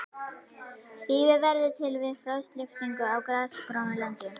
Þýfi verður til við frostlyftingu á grasigrónu landi.